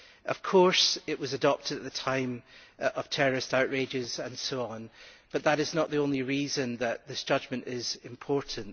Of course, it was adopted at the time of terrorist outrages and so on, but that is not the only reason that this judgment is important.